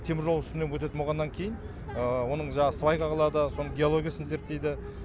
теміржол үстінен өтетін болғаннан кейін оның свайка қылады соның геологиясын зерттейді